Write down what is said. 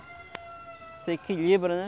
Você equilibra, né?